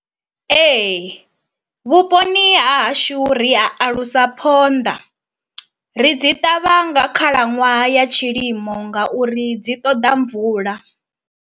Ee, vhuponi ha hashu ri a alusa phonḓa. Ri dzi ṱavha nga khalaṅwaha ya tshilimo ngauri dzi ṱoḓa mvula.